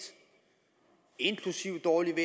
inklusive dårligt